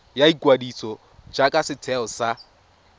ya ikwadiso jaaka setheo sa